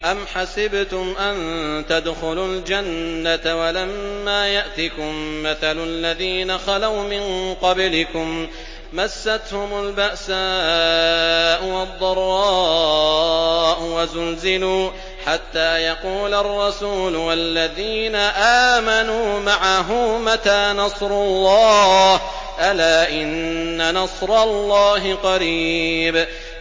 أَمْ حَسِبْتُمْ أَن تَدْخُلُوا الْجَنَّةَ وَلَمَّا يَأْتِكُم مَّثَلُ الَّذِينَ خَلَوْا مِن قَبْلِكُم ۖ مَّسَّتْهُمُ الْبَأْسَاءُ وَالضَّرَّاءُ وَزُلْزِلُوا حَتَّىٰ يَقُولَ الرَّسُولُ وَالَّذِينَ آمَنُوا مَعَهُ مَتَىٰ نَصْرُ اللَّهِ ۗ أَلَا إِنَّ نَصْرَ اللَّهِ قَرِيبٌ